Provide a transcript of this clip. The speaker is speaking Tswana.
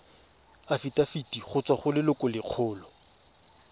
afitafiti go tswa go lelokolegolo